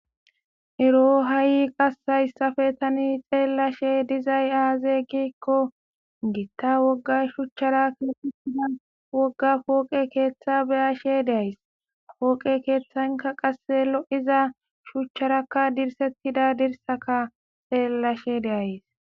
ero hayi qasse hayssafe tani xeellashe dizay aaze gikko gitta wogga shuchchara keexetida wogga pooqe keeththa beyashe de'ays. pooqe keeththanka qase lo7iza shuchcharakka dirsettida dirsaka xeellashe de'ays.